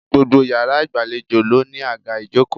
Gbogbo yàrá ìgbàlejò ló ní àga ìjókòó